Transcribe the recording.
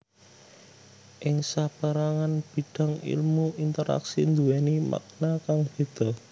Ing sapérangan bidang èlmu interaksi nduwèni makna kang béda